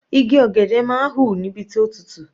Igi ọ̀gẹ̀dẹ̀ máa ń hù níbi tó tutù.